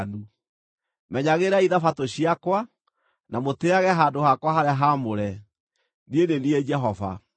“ ‘Menyagĩrĩrai Thabatũ ciakwa, na mũtĩĩage handũ hakwa harĩa haamũre. Niĩ nĩ niĩ Jehova.